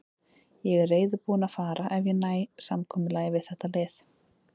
Ég er reiðubúinn að fara ef ég næ samkomulagi við þetta lið.